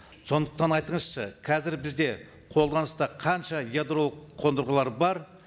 сондықтан айтыңызшы қазір бізде қолданыста қанша ядролық қондырғылар бар